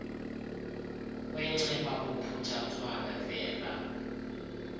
kwenciba bophuthatswana venda